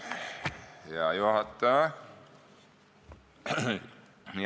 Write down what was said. Hea juhataja!